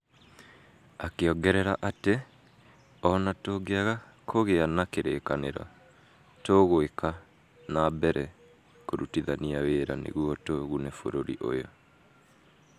akĩogerera atĩ ."O na tũngĩaga kũgĩa na kĩrĩkanĩro, [tũgwĩka ] na mbere kũrutithania wĩra nĩguo tũgune bũrũri ũyũ